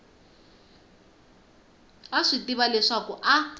a swi tiva leswaku a